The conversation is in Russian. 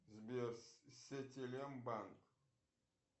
сбер сетелем банк